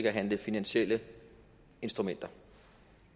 at handle finansielle instrumenter